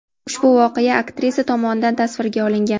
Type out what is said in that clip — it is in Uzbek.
Ushbu video aktrisa tomonidan tasvirga olingan.